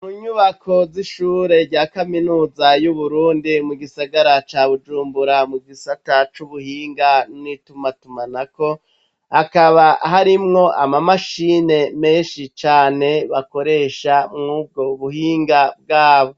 Munyubako z’ishure rya kaminuza y’uburundi mugisagara ca bujumbura mugisata c’ubuhinga n’itumatumanako ,hakaba harimwo ama mashine menshi cane bakoresha mwubwo buhinga bwabo.